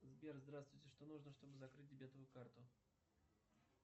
сбер здравствуйте что нужно чтобы закрыть дебетовую карту